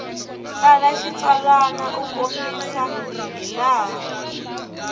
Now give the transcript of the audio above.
tsala xitsalwana u kombisa hilaha